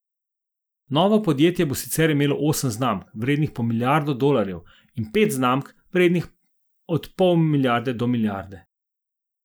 Novo podjetje bo sicer imelo osem znamk, vrednih po milijardo dolarjev, in pet znamk, vrednih od pol milijarde do milijarde.